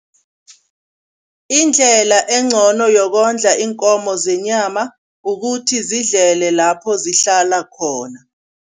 Indlela engcono yokondla iinkomo zenyama, kukuthi zidlele lapho zihlala khona.